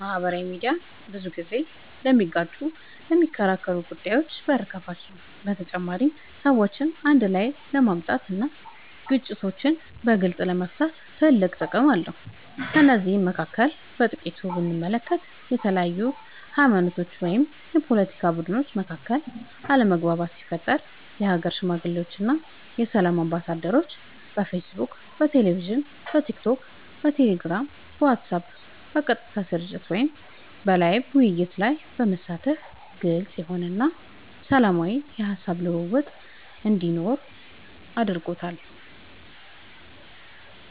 ማህበራዊ ሚድያ ብዙ ጊዜ ለሚጋጩና ለሚከራከሩ ጉዳዮች በር ከፋች ነው በተጨማሪም ሰዎችን አንድ ላይ ለማምጣት እና ግጭቶችን በግልፅ ለመፍታት ትልቅ ጥቅም አለው ከነዚህም መካከል በጥቂቱ ብንመለከት በተለያዩ ሀይማኖቶች ወይም የፓለቲካ ቡድኖች መካከል አለመግባባቶች ሲፈጠሩ የሀገር ሽማግሌዎች እና የሰላም አምባሳደሮች በፌስቡክ በቴሌቪዥን በቲክቶክ በቴሌግራም በዋትስአብ በቀጥታ ስርጭት ወይም ላይቭ ውይይቶች ላይ በመሳተፍ ግልፅ የሆነ እና ሰላማዊ የሀሳብ ልውውጥ እንዲኖር አድርጓል።